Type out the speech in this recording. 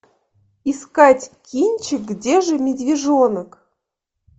искать кинчик где же медвежонок